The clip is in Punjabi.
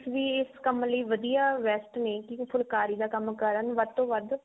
ਵੀ ਇਸ ਕੰਮ ਲਈ ਵਧੀਆ best ਨੇ ਵੀ ਫੁਲਾਕਰੀ ਦਾ ਕੰਮ ਕਰਨ ਵੱਧ ਤੋਂ ਵੱਧ